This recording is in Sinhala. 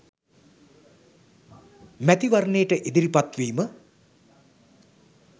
මැතිවරණයට ඉදිරිපත් වීම